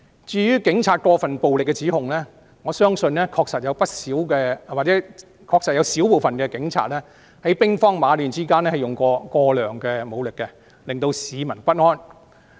至於警察使用過分武力的指控，我相信確實不少——或是有少部分警察，在兵荒馬亂之間使用了過量武力，引起市民不安。